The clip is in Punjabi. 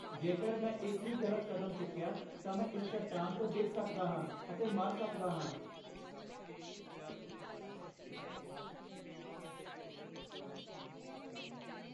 ਜੇਕਰ ਮੈਂ ਇੱਕ ਵੀ ਗ਼ਲਤ ਕਦਮ ਚੁੱਕਿਆ, ਤਾਂ ਮੈਂ ਇਸ ਚੱਟਾਨ ਤੋਂ ਡਿੱਗ ਸਕਦਾ ਹਾਂ ਅਤੇ ਮਰ ਸਕਦਾ ਹਾਂ।